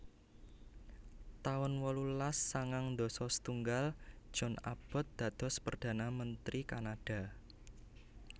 taun wolulas sangang dasa setunggal John Abbott dados perdana menteri Kanada